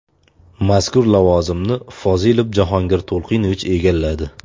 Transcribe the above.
Mazkur lavozimni Fozilov Jahongir To‘lqinovich egalladi.